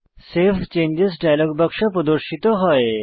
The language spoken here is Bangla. সেভ চেঞ্জেস ডায়লগ বাক্স প্রদর্শিত হয়